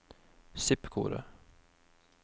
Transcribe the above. zip-kode